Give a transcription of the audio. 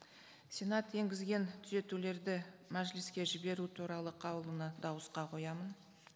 сенат енгізген түзетулерді мәжіліске жіберу туралы қаулыны дауысқа қоямын